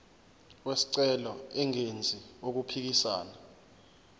wesicelo engenzi okuphikisana